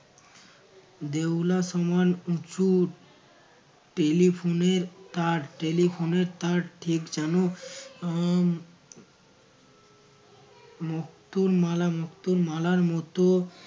দেউলা সমান উঁচু telephone এর তার telephone এর তার ঠিক যেন আহ মুক্তোর মালা মুক্তোর মালার মতো